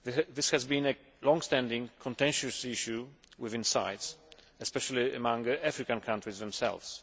This has been a longstanding, contentious issue within CITES, especially among African countries themselves.